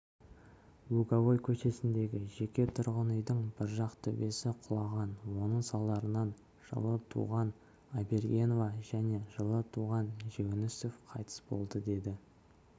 луговой көшесіндегі жеке тұрғын үйдің бір жақ төбесі құлаған соның салдарынан жылы туған айбергенова және жылы туған жүгінісов қайтыс болды деді